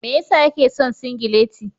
Me ya sa yake son singileti.